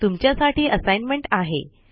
तुमच्या साठी असाइनमेंट आहे